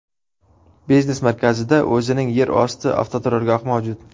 Biznes markazida o‘zining yer osti avtoturargohi mavjud.